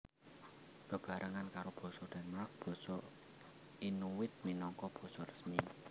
Bebarengan karo basa Denmark basa Inuit minangka basa resmi